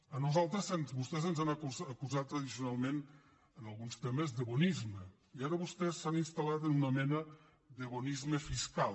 a nosaltres vostès ens han acusat tradicionalment en alguns temes de bonisme i ara vostès s’han instalen una mena de bonisme fiscal